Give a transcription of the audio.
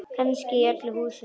Kannski í öllu húsinu.